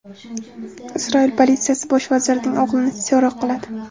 Isroil politsiyasi bosh vazirning o‘g‘lini so‘roq qiladi.